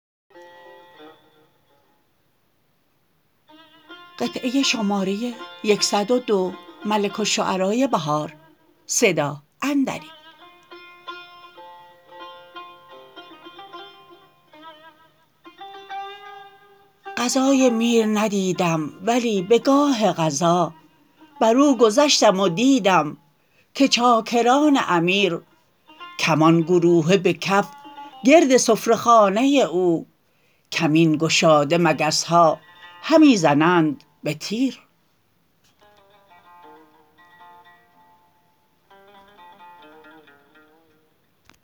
غذای میر ندیدم ولی به گاه غذا بر اوگذشتم و دیدم که چاکران امیر کمان گروهه به کف گرد سفره خانه او کمین گشاده مگس ها همی زنند به تیر